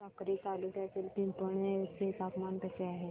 साक्री तालुक्यातील पिंपळनेर चे तापमान कसे आहे